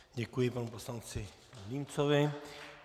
Děkuji panu poslanci Vilímcovi.